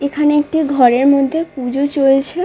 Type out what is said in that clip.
এখানে একটি ঘরের মধ্যে পূজো চলছে ।